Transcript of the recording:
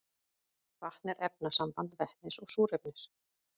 vatn er efnasamband vetnis og súrefnis